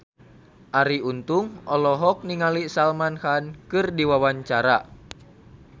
Arie Untung olohok ningali Salman Khan keur diwawancara